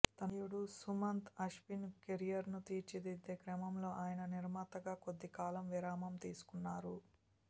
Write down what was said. తనయుడు సుమంత్ అశ్విన్ కెరీర్ను తీర్చిదిద్దే క్రమంలో ఆయన నిర్మాతగా కొద్దికాలం విరామం తీసుకున్నారు